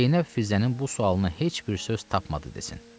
Zeynəb Filzənin bu sualına heç bir söz tapmadı desin.